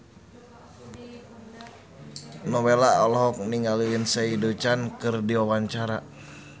Nowela olohok ningali Lindsay Ducan keur diwawancara